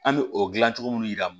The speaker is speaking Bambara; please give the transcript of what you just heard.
An bɛ o dilan cogo minnu yira